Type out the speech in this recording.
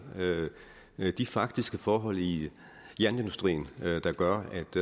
de faktiske forhold i jernindustrien der gør